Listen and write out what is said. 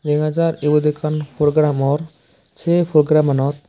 dega jar ibot ekkan program or se program anot.